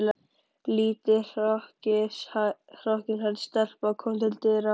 Lítil hrokkinhærð stelpa kom til dyra.